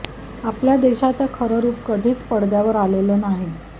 आपल्या देशाचं खरं रूप कधीच पडद्यावर आलेलं नाही